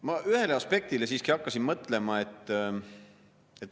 Ma ühele aspektile siiski hakkasin mõtlema.